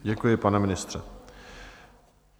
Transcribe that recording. Děkuji, pane ministře.